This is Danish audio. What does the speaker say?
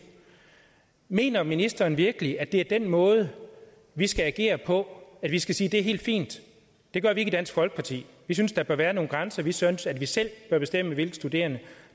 mener ministeren så virkelig at det er den måde vi skal agere på at vi skal sige det er helt fint det gør vi ikke i dansk folkeparti vi synes der bør være nogle grænser vi synes at vi selv bør bestemme hvilke studerende